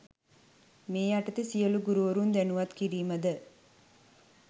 මේ යටතේ සියලු ගුරුවරුන් දැනුවත් කිරීමද